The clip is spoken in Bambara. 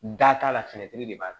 Da t'a la feere de b'a